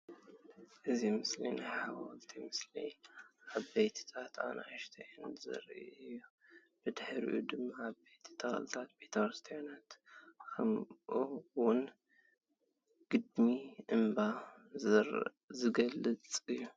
እዚ ምስሊ ናይ ሕወልቲ ምስሊ ዓበይትን ኣናእሽተይን ዘርእይ እዩ። ብድሕሪኡ ድማ ዓበይቲ ተኽልታትን ቤተ ክርስትያን ክምኡ ውን ግድሚ( እምባ) ዝገልጽ እዩ